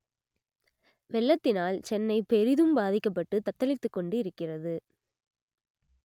வெள்ளத்தினால் சென்னை பெரிதும் பாதிக்கப்பட்டு தத்தளித்துக்கொண்டு இருக்கிறது